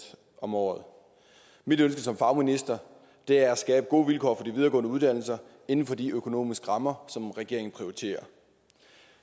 om året mit ønske som fagminister er at skabe gode vilkår for de videregående uddannelser inden for de økonomiske rammer som regeringen prioriterer